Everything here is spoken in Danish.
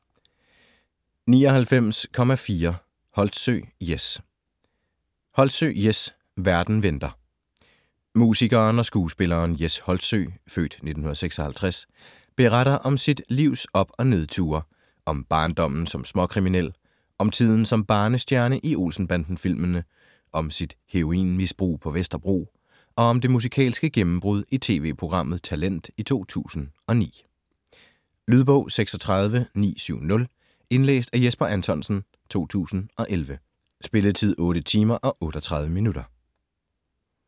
99.4 Holtsø, Jes Holtsø, Jes: Verden venter Musikeren og skuespilleren Jes Holtsø (f. 1956) beretter om sit livs op- og nedture: om barndommen som småkriminel, om tiden som barnestjerne i Olsen-banden-filmene, om sit heroinmisbrug på Vesterbro og om det musikalske gennembrud i tv-programmet Talent i 2009. Lydbog 36970 Indlæst af Jesper Anthonsen, 2011. Spilletid: 8 timer, 38 minutter.